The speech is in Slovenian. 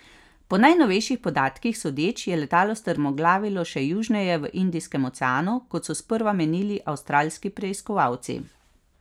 Po najnovejših podatkih sodeč je letalo strmoglavilo še južneje v Indijskem oceanu kot so sprva menili avstralski preiskovalci.